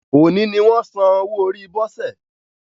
Òní ni wọ́n san owó orí Bose